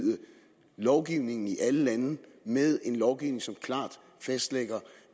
lovgivningen i alle landene med en lovgivning som klart fastlægger